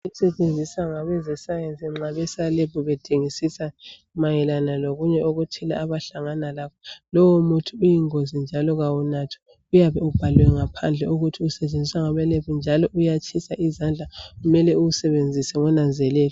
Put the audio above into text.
Okusetshenziswa ngabeze sayensi nxa beselebhu bedingisisa mayelana lokunye okuthile abahlangana lakho. Lowo muthi uyingozi njalo kawunathwa uyabe ubhaliwe ngaphandle ukuthi usetshenziswa ngabe lebhu njalo uyatshisa izandla njalo kumele uwusebenzise ngokunanzelela.